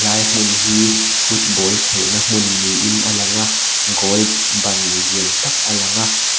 lai hmun hi football khelhna hmun niin a langa goal ban lian tak a lang a.